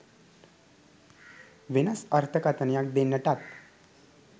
වෙනස් අර්ථකථනයක් දෙන්නටත්